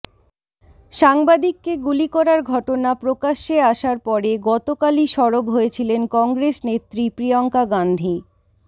সাংবাদিককে গুলি করার ঘটনা প্রকাশ্যে আসার পরে গত কালই সরব হয়েছিলেন কংগ্রেস নেত্রী প্রিয়ঙ্কা গাঁধী